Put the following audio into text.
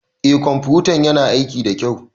Eh ƙwamfutan yana aiki da kyau.